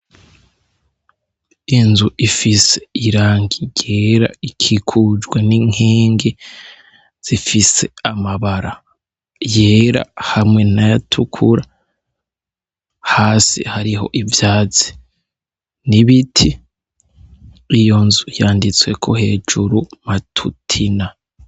Inzu ifise irangi ryera, ikikujwe n’inkingi zifise amabara yera hamwe nayatukura hasi hariho ivyatsi n'ibiti, iyo nzu yanditsweko hejuru Matutina.